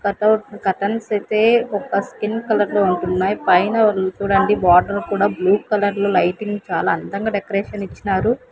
Cutout curtains అయితే ఒక skin colour లో ఉంటున్నాయి పైన చూడండి బార్డర్ కూడా బ్లూ కలర్ లో లైటింగ్ చాలా అందంగా డెకరేషన్ ఇచ్చినారు.